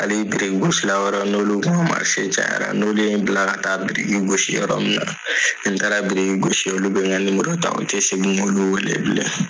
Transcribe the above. Hali birikigosi wɛrɛw n'olu ka cayara n'olu ye n bila ka taa biri gosi yɔrɔ min na ni n taara biriki gosi olu bɛ n ka u tɛ segin k'olu wele bilen.